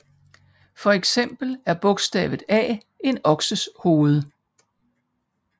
For eksempel er bogstavet A en okses hoved